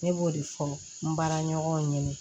Ne b'o de fɔ n baaraɲɔgɔnw ye